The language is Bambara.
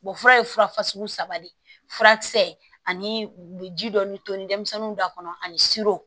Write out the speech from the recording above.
fura ye fura sugu saba de ye furakisɛ ani ji dɔ bi to ni denmisɛnninw da kɔnɔ ani